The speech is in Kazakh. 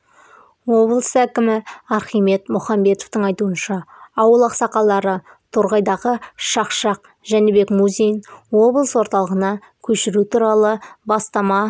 облыс әкімі архимед мұхамбетовтің айтуынша ауыл ақсақалдары торғайдағы шақшақ жәнібек музейін облыс орталығына көшіру туралы бастама